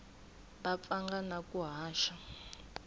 va pfanga na ku haxa